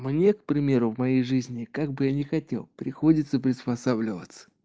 мне к примеру в моей жизни как бы я не хотел приходится приспосабливаться